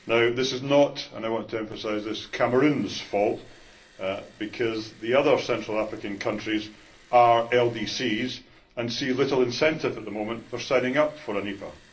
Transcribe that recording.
This is not and I want to emphasise this Cameroon's fault, because the other Central African countries are LDCs, and see little incentive at the moment for signing up for an EPA.